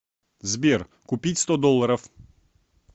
сбер купить сто долларов